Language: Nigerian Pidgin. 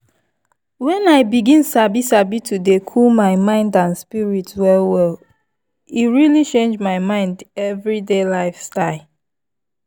when i begin sabi sabi to dey cool my mind and spirit well well e really change my everyday lifestyle.